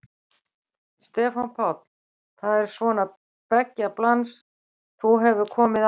Stefán Páll: Það er svona beggja blands, þú hefur komið áður?